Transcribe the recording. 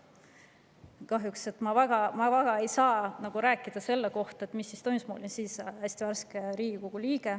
Kahjuks ma ei saa väga rääkida selle kohta, mis siis toimus, sest ma olin siis hästi värske Riigikogu liige.